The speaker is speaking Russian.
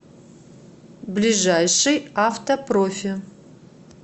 ближайший авто профи